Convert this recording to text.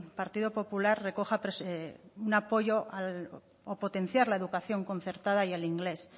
partido popular recoja un apoyo o potenciar la educación concertada y el inglés